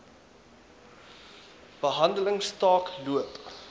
behandeling staak loop